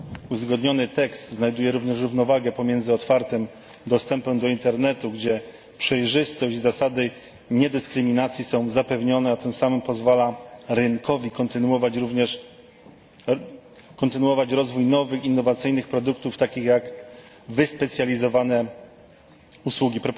Uzgodniony tekst wprowadza również równowagę pomiędzy otwartym dostępem do internetu, gdzie przejrzystość i zasady niedyskryminacji są zapewnione, a tym samym pozwala rynkowi kontynuować rozwój nowych innowacyjnych produktów, takich jak wyspecjalizowane usługi.